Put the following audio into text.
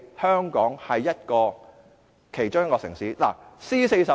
香港作為其中一個 C40 城市......